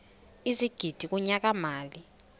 ezigidi kunyaka mali